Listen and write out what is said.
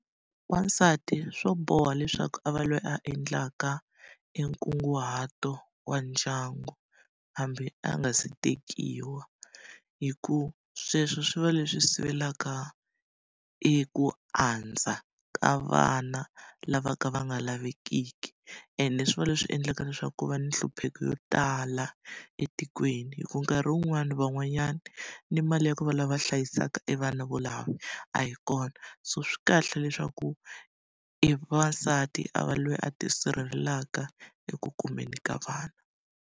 Wasati swo boha leswaku a va loyi a endlaka enkunguhato wa ndyangu hambi a nga se tekiwa, hikuva sweswo swi va leswi sivelaka eku andza ka vana lava ka va nga lavekiki. Ende swi va leswi endlaka leswaku ku va ni hlupheka wo tala etikweni. Hikuva nkarhi wun'wani van'wanyana ni mali ya ku va lava hlayisaka evana volava a yi kona. So swi kahle leswaku evavasati a va loyi a tisirhelelaka eku kumeni ka vana.